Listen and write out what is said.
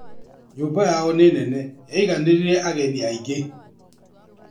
Nyũmba yao nĩ nene yaiganĩrire ageni aingĩ